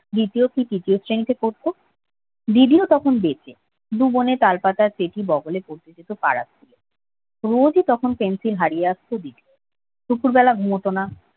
দ্বিতীয় কি তৃতীয় শ্রেণীতে পড়তো দিবিও তখন বেঁচে দু বোনে তালপাতার রোজি পেন্সিল হারিয়ে আসত দুপুরবেলা ঘুমাতো না